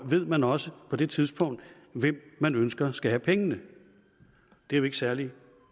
ved man også på det tidspunkt hvem man ønsker skal have pengene det er jo ikke særlig